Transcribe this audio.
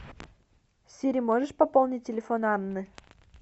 сири можешь пополнить телефон анны